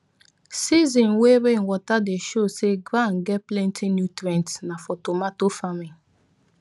season way rainwater dey show say ground get plenty nutrients nah for tomato farming